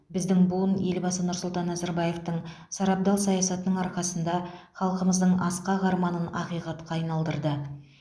біздің буын елбасы нұрсұлтан назарбаевтың сарабдал саясатының арқасында халқымыздың асқақ арманын ақиқатқа айналдырды